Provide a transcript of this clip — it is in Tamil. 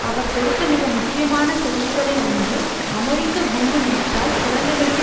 அவர் கொடுத்த மிக முக்கியமான செய்திகளில் ஒன்று அமெரிக்க குண்டு வீச்சால் குழந்தைகளுக்கு